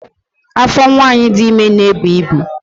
Afọ nwanyị dị ime na-ebu ibu